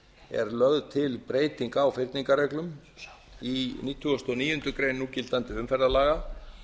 er lögð til breyting á núgildandi umferðarreglum á nítugasta og níundu grein núgildandi umferðarlaga